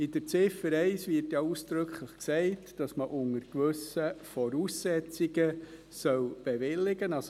In Ziffer 1 wird ja ausdrücklich gesagt, dass man unter gewissen Voraussetzungen bewilligen soll.